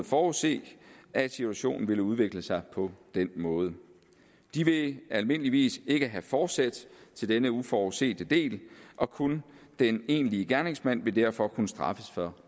forudse at situationen ville udvikle sig på den måde de vil almindeligvis ikke have forsæt til denne uforudsete del og kun den egentlige gerningsmand vil derfor kunne straffes for